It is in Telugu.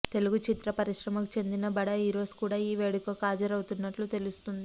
తెలుగు చిత్ర పరిశ్రమకు చెందిన బడా హీరోస్ కూడా ఈ వేడుకకి హాజరవుతున్నట్లు తెలుస్తుంది